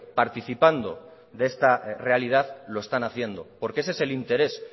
participando de esta realidad lo están haciendo porque ese es el interés